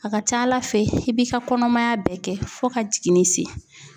A ka ca Ala fɛ i b'i ka kɔnɔmaya bɛɛ kɛ fo ka jiginni se .